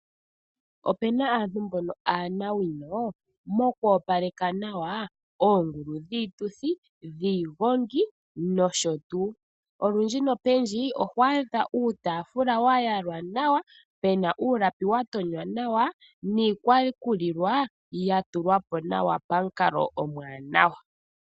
Opena aantu mboka aanawino moku opaleka nawa oongulu dhiituthi, dhiigongi nosho tuu. Olundji nopendji oho adha uutaafula wayalwa nawa, pena uulapi watonywa nawa niikwakulilwa yatulwapo nawa pamukalo omuwanawa.